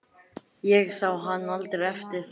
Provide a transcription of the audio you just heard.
Ég sá hann aldrei eftir það.